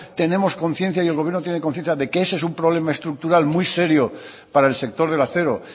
tenemos conciencia y el gobierno tiene conciencia de que ese es un problema estructural muy serio para el sector del acero